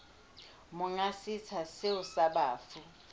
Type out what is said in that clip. monga setsha seo sa bafu